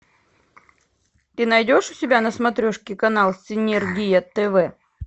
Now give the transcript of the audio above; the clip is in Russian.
ты найдешь у себя на смотрешке канал синергия тв